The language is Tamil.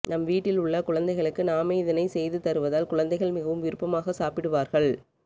நம் வீட்டில் உள்ள குழந்தைகளுக்கு நாமே இதனை செய்து தருவதால் குழந்தைகள் மிகவும் விருப்பமாக சாப்பிடுவார்கள்